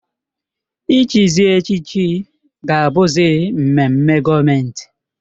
Ị chịzị echịchị ga-abụzị mmemme gọọmentị